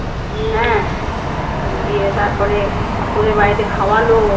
ওদের বাড়িতে খাওয়ালো